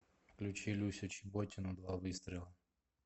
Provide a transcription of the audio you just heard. включи люсю чеботину два выстрела